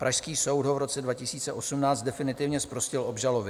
Pražský soud ho v roce 2018 definitivně zprostil obžaloby.